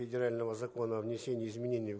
федерального закона о внесении изменений